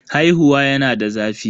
Haihuwa yana da zafi.